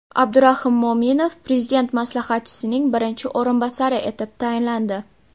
Abdurahim Mo‘minov Prezident maslahatchisining birinchi o‘rinbosari etib tayinlandi.